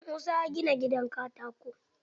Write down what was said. Musa ya gina gidan katako.